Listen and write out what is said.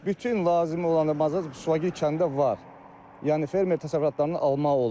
Bütün lazım olanın Suvagil kəndində var, yəni fermer təsərrüfatından almaq olur.